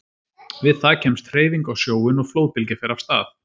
Við það kemst hreyfing á sjóinn og flóðbylgja fer af stað.